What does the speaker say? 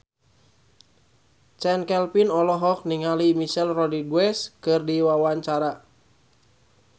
Chand Kelvin olohok ningali Michelle Rodriguez keur diwawancara